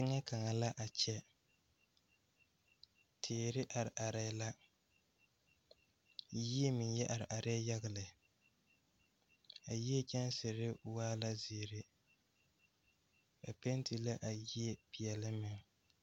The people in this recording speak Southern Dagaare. Teŋɛ kaŋa la a kyɛ teere are areɛɛ la yie meŋ yɛ are areɛɛ yaga lɛ a yie kyɛnserre waa la zeere ba penti la a yie peɛɛle meŋ.